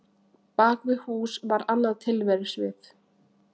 Bak við hús var annað tilverusvið.